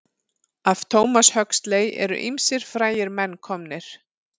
Af Thomas Huxley eru ýmsir frægir menn komnir.